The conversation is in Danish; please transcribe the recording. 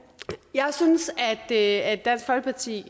jeg synes at dansk folkeparti